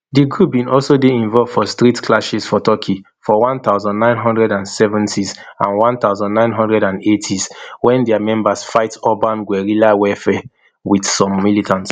di group bin also dey involved for street clashes for turkey for one thousand, nine hundred and seventys and one thousand, nine hundred and eightys wen dia members fight urban guerrilla warfare wit some militants